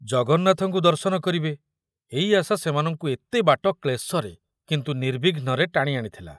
ଜଗନ୍ନାଥଙ୍କୁ ଦର୍ଶନ କରିବେ ଏଇ ଆଶା ସେମାନଙ୍କୁ ଏତେ ବାଟ କ୍ଳେଶରେ କିନ୍ତୁ ନିର୍ବିଘ୍ନରେ ଟାଣି ଆଣିଥିଲା।